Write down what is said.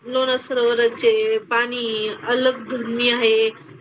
लोणार सरोवराचे पाणी अलग दुनिया आहे.